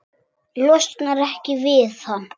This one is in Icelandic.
Losnar ekki við hann.